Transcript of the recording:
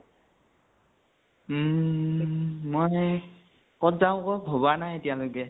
ঊম মই কত যাও ক ভবা নাই এতিয়া।